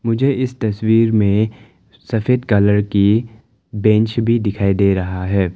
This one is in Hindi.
मुझे इस तस्वीर में सफेद कलर की बेंच भी दिखाई दे रहा है।